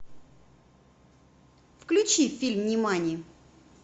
включи фильм нимани